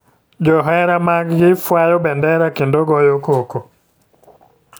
Johera mag gi fwanyo bendera kendo goyo koko.